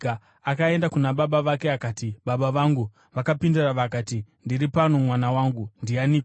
Akaenda kuna baba vake akati, “Baba vangu.” Vakapindura vakati, “Ndiri pano mwana wangu. Ndianiko?”